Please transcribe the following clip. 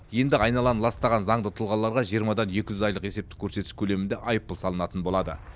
енді айналаны ластаған заңды тұлғаларға жиырмадан екі жүз айлық есептік көрсеткіш көлемінде айыппұл салынатын болады